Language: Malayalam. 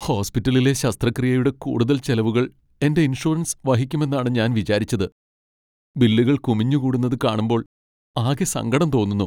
ഹോസ്പിറ്റലിലെ ശസ്ത്രക്രിയയുടെ കൂടുതൽ ചെലവുകൾ എന്റെ ഇൻഷുറൻസ് വഹിക്കുമെന്നാണ് ഞാൻ വിചാരിച്ചത് . ബില്ലുകൾ കുമിഞ്ഞുകൂടുന്നത് കാണുമ്പോൾ ആകെ സങ്കടം തോന്നുന്നു.